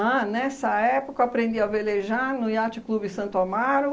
Ah, nessa época eu aprendi a velejar no Iate Clube Santo Amaro,